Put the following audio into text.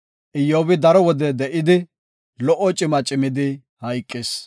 Iyyobi daro wode de7idi, lo77o cima cimidi hayqis.